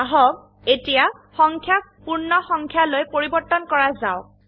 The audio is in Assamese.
আহক এতিয়া সংখ্যাক পূৰ্ণসংখ্যালৈ পৰিবৰ্তন কৰা যাওক